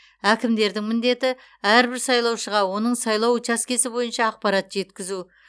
әкімдердің міндеті әрбір сайлаушыға оның сайлау учаскесі бойынша ақпарат жеткізу